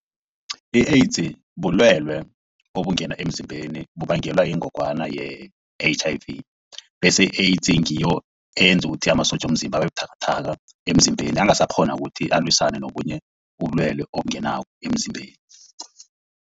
I-AIDS bulwelwe obungena emzimbeni bubangelwa yingogwana ye-H_I_V bese i-AIDS ngiyo eyenza ukuthi amasotja womzimba abebuthakathaka emzimbeni angasakghoni ukuthi alwisane nobunye ubulwelwe obungena emzimbeni.